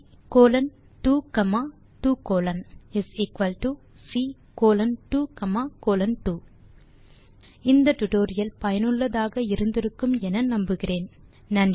Ccolon 2 2 colon Ccolon 2 colon 2 நீங்கள் இந்த tutorial லை சுவாரசியத்துடன் படித்து பயன் பெற்று இருப்பீர்கள் என நம்புகிறேன்